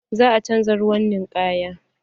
Za a canza ruwan ninkayan.